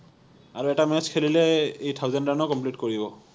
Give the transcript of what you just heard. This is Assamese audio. আৰু এটা match খেলিলে ই thousand run ও complete কৰিব